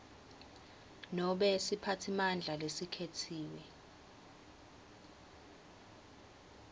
nobe siphatsimandla lesikhetsiwe